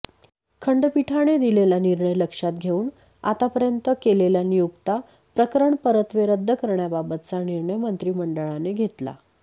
खंडपीठाने दिलेला निर्णय लक्षात घेऊन आतापर्यंत केलेल्या नियुक्त्या प्रकरणपरत्वे रद्द करण्याबाबतचा निर्णय मंत्रिमंडळाने घेतला